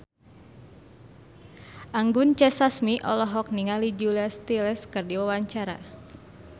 Anggun C. Sasmi olohok ningali Julia Stiles keur diwawancara